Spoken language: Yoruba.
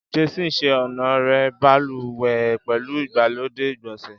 Jason ṣe ọnà rẹ baluwe pẹlu igbalode igbonse